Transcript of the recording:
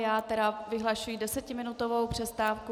Já tedy vyhlašuji desetiminutovou přestávku.